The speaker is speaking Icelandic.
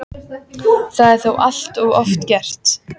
Það er þó allt of oft gert.